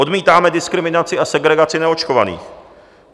Odmítáme diskriminaci a segregaci neočkovaných.